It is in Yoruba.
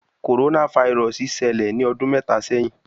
Coronavirus ṣẹlẹ ni ọdun mẹta sẹhin